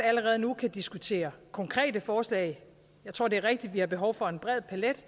allerede nu kan diskutere konkrete forslag jeg tror det er rigtigt at vi har behov for en bred palet